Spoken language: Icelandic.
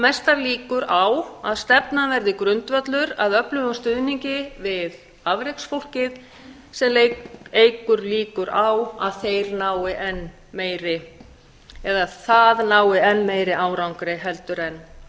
mestar líkur á að stefnan verði grundvöllur að öflugum stuðningi við afreksfólkið sem eykur líkur á að það nái enn meiri árangri en